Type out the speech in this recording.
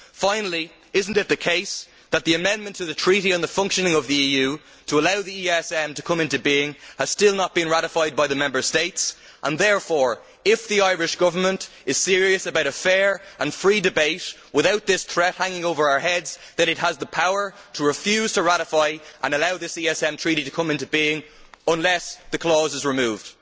Finally, is it not the case that the amendment to the Treaty on the Functioning of the European Union to allow the ESM to come into being has still not been ratified by the Member States and therefore, if the Irish Government is serious about a fair and free debate without this threat hanging over our heads, it has the power to refuse to ratify and allow this ESM Treaty to come into being unless the clause is removed?